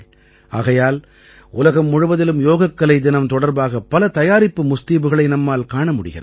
ஆகையால் உலகம் முழுவதிலும் யோகக்கலை தினம் தொடர்பாக பல தயாரிப்பு முஸ்தீபுகளை நம்மால் காண முடிகிறது